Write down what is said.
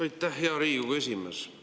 Aitäh, hea Riigikogu esimees!